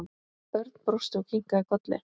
Örn brosti og kinkaði kolli.